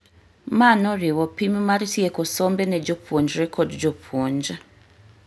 Ma noriwo pim mar tieko sombe ne jopuonjre kod jopuonj